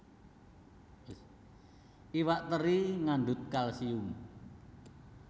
Iwak teri ngandhut kalsium